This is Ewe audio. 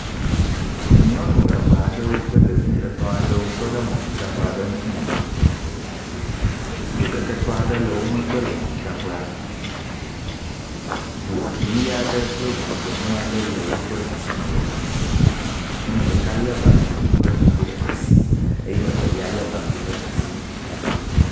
Nyɔnu eve aɖewo kple ɖevi etɔ̃ aɖewo tɔ ɖe mɔmemi dzraƒe ŋku me, dzokeketɔ aɖe le womgbe le mɔmemi dzraƒea, ŋu ʋi aɖe kple ŋu gbemu aɖe le woƒe ɖusi me lɔƒo. nyɔnu ɖeka le bange kple kpete ɖe asi eye evelia le bange ɖe asi